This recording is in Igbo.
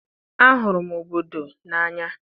Ahụrụ m obodo n'anya.